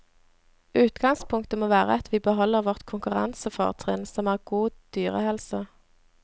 Utgangspunktet må være at vi beholder vårt konkurransefortrinn som er god dyrehelse.